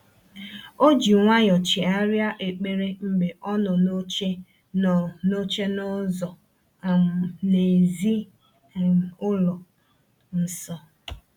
O ji nwayọ chegharịa ekpere mgbe ọ nọ n’oche nọ n’oche n’ụzọ um n’èzí um ụlọ um nsọ.